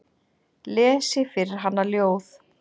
Lesi fyrir hana ljóð.